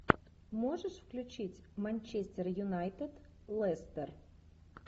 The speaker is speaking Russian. можешь включить манчестер юнайтед лестер